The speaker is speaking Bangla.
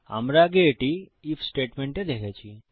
আমরা আগে এটি আইএফ স্টেটমেন্টে দেখেছি